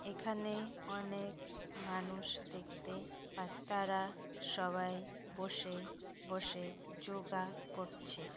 এখানে অনেক মানুষ দেখতে পাত তারা সবাই বসে বসে যোগা করছে।